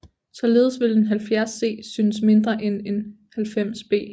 Således vil en 70C synes mindre end en 90B